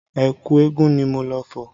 Ẹ̀kú eégun ni mo lọ fọ̀.